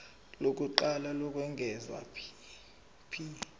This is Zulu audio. lokuqala lokwengeza p